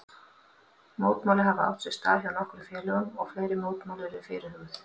Mótmæli hafa átt sér stað hjá nokkrum félögum og fleiri mótmæli eru fyrirhuguð.